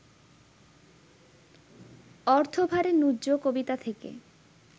অর্থভারে ন্যুব্জ কবিতা থেকে